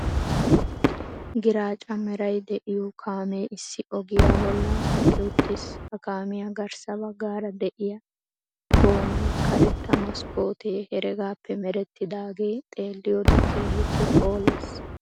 Giraacca meray de'iyo kaamee issi ogiya bollan eqqi uttiis, ha kaamiya garssa baggaara de'iyaa goommay karetta maskkootte heregaappe merettidaage xeeliyode keehippe phoooles.